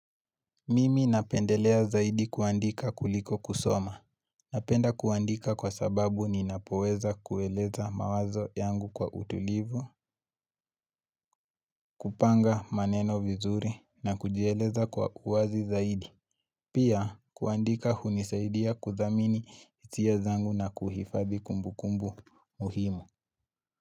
Mimi napendelea zaidi kuandika kuliko kusoma. Napenda kuandika kwa sababu ninapoweza kueleza mawazo yangu kwa utulivu, kupanga maneno vizuri na kujieleza kwa uwazi zaidi. Pia kuandika hunisaidia kuthamini hisia zangu na kuhifadhi kumbukumbu muhimu.